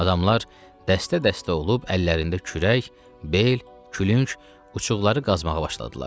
Adamlar dəstə-dəstə olub əllərində kürək, bel, külüng uçuğları qazmağa başladılar.